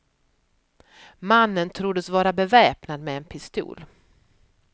Mannen troddes vara beväpnad med en pistol.